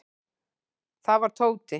Það var Tóti.